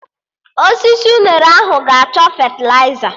Osisi unere ahụ aga achọ fetịliza?